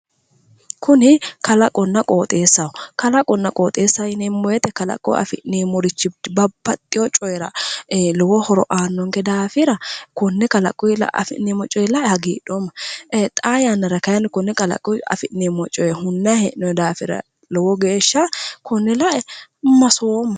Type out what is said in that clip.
Kuni kalaqonna qoxeessaho kalaqonna qoxeessa yineemmo woyiite kalaqiyi afi'neemmorichi babbaxxeyo coyiira ee lowo horo aannonke daafira konne kalaquyi lae lowo geeshsha hagidhoomma xaa yannara konne kalaquyi afi'neemmo coye hunnayi hee'noyi daafira konne lae lowo geeshsha masoomma